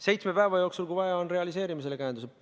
Seitsme päeva jooksul, kui vaja on, realiseerime selle käenduse.